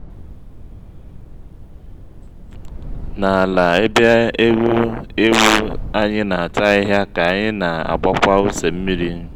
n'ala ebe eghu/ewu anyị n'ata ahịhịa ka anyị na-agbakwa ose mmiri